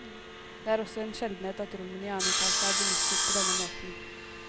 Det er også en sjeldenhet at rommene i annen etasje er benyttet på denne måten.